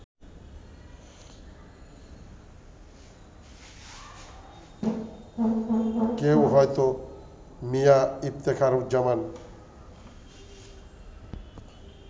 কেউ হয়তো মিয়া ইফতেখারুজ্জামান